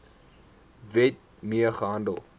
wet mee gehandel